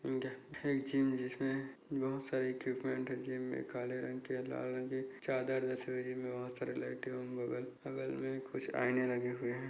यह एक जिम जिसमें बहुत सारे इक्विपमेंट है जिम में काले रंग के लाल रंग के चादर जैसे ये जिम में बहुत सारे लाइटे बगल बगल में कुछ आईने लगे हुए है।